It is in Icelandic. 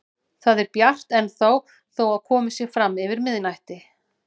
Það er bjart ennþá þó að komið sé fram yfir miðnætti.